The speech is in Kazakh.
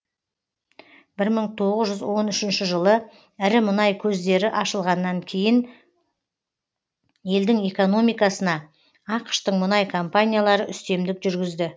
мың тоғыз жүз он үшінші жылы ірі мұнай көздері ашылғаннан кейін елдің экономикасына ақш тың мұнай компаниялары үстемдік жүргізді